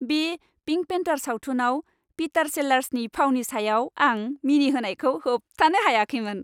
बे पिंक पेन्थार सावथुनाव पिटार सेलार्सनि फावनि सायाव आं मिनिनायखौ होबथानो हायाखैमोन।